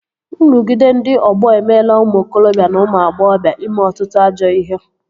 Nrụgide ndị ọgbọ emeela ụmụ okorobịa na ụmụ agbọghọbịa ime ọtụtụ ajọ ihe